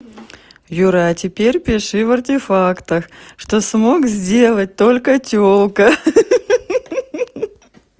юра а теперь пиши в артефактах что смог сделать только тёлка ха-ха